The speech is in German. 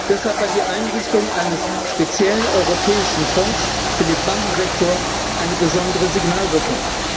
Deshalb hat die Einrichtung eines speziellen europäischen Fonds für den Bankensektor eine besondere Signalwirkung.